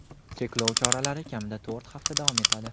cheklov choralari kamida to‘rt hafta davom etadi.